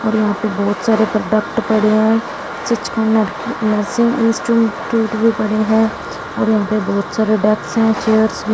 और यहाँ पे बहोत सारे प्रोडक्ट पड़े हैं सीच ऑनर कि नर्सिंग इंस्ट्यूम स्टूडियो पड़े हैं और यहाँ पे बाहोत सारे डेक्स हैं चेयर्स भी --